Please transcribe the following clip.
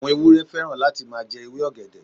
Àwọn ewúrẹ́ fẹ́ràn láti máa jẹ ewé ọ̀gẹ̀dẹ̀.